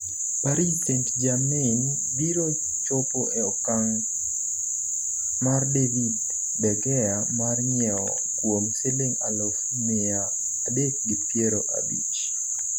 Paris St Germain biro chopo e okang' mar David de Gea mar nyiewe kuom siling aluf miya adek gi piero abich